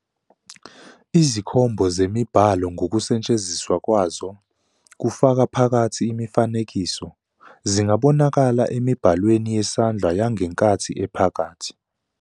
Izikhombo zemibhalo ngokusetshenziswa kwazo, kufaka phakathi imifanekiso, zingabonakala emibhalweni yesandla yangenkathi ephakathi.